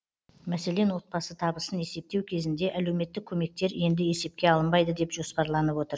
мәселен отбасы табысын есептеу кезінде әлеуметтік көмектер енді есепке алынбайды деп жоспарланып отыр